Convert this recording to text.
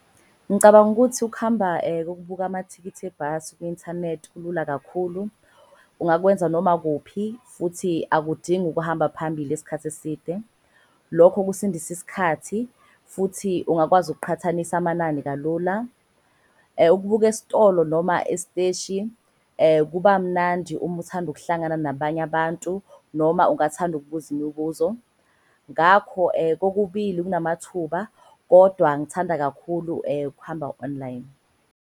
Ngicabanga ukuthi ukuhamba kokubuka amathikithi ebhasi kwi-inthanethi kulula kakhulu. Ungakwenza noma kuphi futhi akudingi ukuhamba phambili esikhathi eside. Lokho kusindisa isikhathi futhi ungakwazi ukuqhathanisa amanani kalula. Ukubuka estolo noma esteshi kuba mnandi uma uthanda ukuhlangana nabanye abantu noma ungathanda ukubuza imibuzo. Ngakho kokubili kunamathuba kodwa ngithanda kakhulu ukuhamba online.